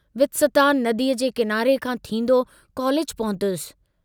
वित्सता नदीअ जे किनारे खां थींदो कॉलेज पहुतुस।